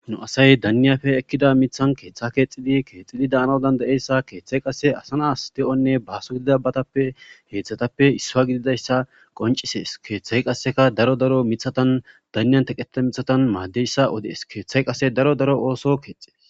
nu asay danniyafe ekkida mithan keeththa keexxidi keexxidi daanadan da7eyssa keeththay qasse asanas de7onne baaso gididabatappe heeththatappe issua gididayssa qoncisees keeththay qasseka daro daro mithatan danniyan teqeta mithatan maaddeyssa odees keeththay qasse daro daro ooso keexe